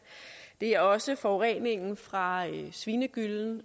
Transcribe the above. det er også forureningen fra svinegyllen